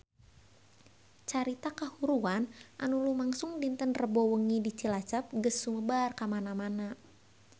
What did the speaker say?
Carita kahuruan anu lumangsung dinten Rebo wengi di Cilacap geus sumebar kamana-mana